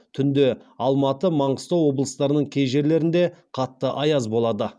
түнде алматы маңғыстау облыстарының кей жерлерінде қатты аяз болады